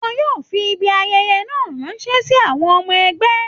Wọ́n yóò fi Ibi ayẹyẹ náà ránṣẹ́ sí àwọn ọmọ ẹgbẹ́